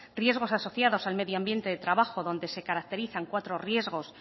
riesgos asociados al medio ambiente del trabajo donde se caracterizan cuatro riesgos